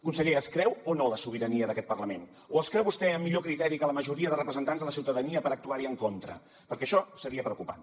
conseller es creu o no la sobirania d’aquest parlament o es creu vostè amb millor criteri que la majoria de representants de la ciutadania per actuar hi en contra perquè això seria preocupant